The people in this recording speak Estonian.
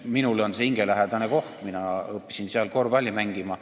Minule on see hingelähedane koht: mina õppisin seal korvpalli mängima.